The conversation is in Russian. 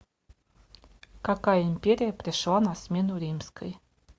какая империя пришла на смену римской